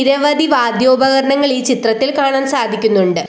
നിരവധി വാദ്യോപകരണങ്ങൾ ഈ ചിത്രത്തിൽ കാണാൻ സാധിക്കുന്നുണ്ട്.